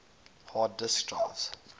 hard disk drives